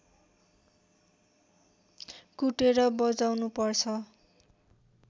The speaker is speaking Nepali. कुटेर बजाउनु पर्छ